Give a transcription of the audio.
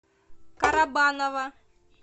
карабаново